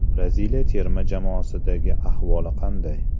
Braziliya terma jamoasidagi ahvoli qanday?